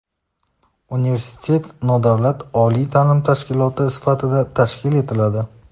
Universitet nodavlat oliy taʼlim tashkiloti sifatida tashkil etiladi.